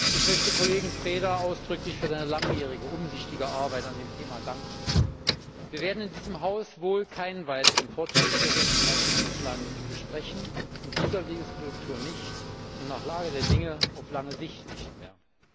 Ich möchte Kollegen Preda ausdrücklich für seine langjährige umsichtige Arbeit an dem Thema danken. Wir werden in diesem Haus wohl keinen weiteren Fortschrittsbericht mehr zu Island besprechen in dieser Wahlperiode nicht und nach Lage der Dinge auf lange Sicht nicht mehr.